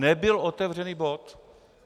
Nebyl otevřený bod.